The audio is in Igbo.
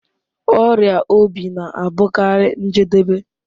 Ọrịa obi na-abụkarị njedebe